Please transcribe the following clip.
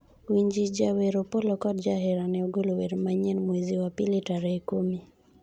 winji, jawer Opollo kod jaherane ogolo wer manyien mwezi wa pili tarehe kumi